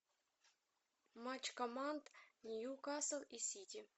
матч команд ньюкасл и сити